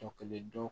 Tɔ kelen do